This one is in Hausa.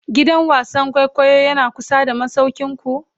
gidan wasan kwaikwayo Yana kusa da masaukinku?